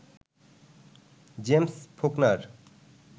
James Faulkner